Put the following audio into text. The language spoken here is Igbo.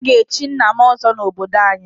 A ga-echi nna m ọzọ n'obodo anyị.